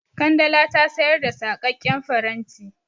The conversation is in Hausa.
Kandala ta sayar da saƙaƙƙen faranti.